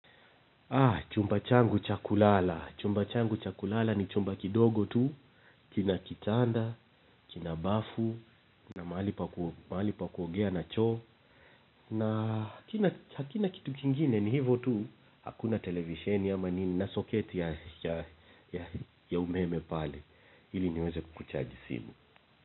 Chumba changu cha kulala. Chumba changu cha kulala ni chumba kidogo tu. Kina kitanda, kina bafu, na mahali pa kuogea na choo. Na hakina kitu kingine ni hivyo tu. Hakuna televisheni ama nini na soketi ya umeme pale. Ili niweze kuchaji sinu.